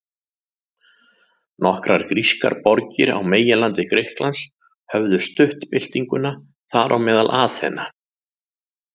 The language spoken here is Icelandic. Nokkrar grískar borgir á meginlandi Grikklands höfðu stutt byltinguna, þar á meðal Aþena.